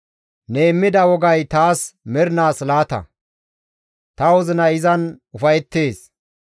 Ne immida wogay taas mernaas laata; ta wozinay izan ufayettees.